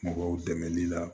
Mɔgɔw dɛmɛli la